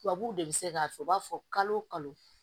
Tubabuw de bi se k'a fɔ u b'a fɔ kalo o kalo